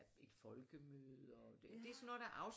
Ja et folkemøde og